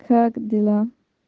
как дела